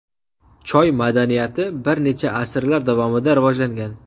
Choy madaniyati bir necha asrlar davomida rivojlangan.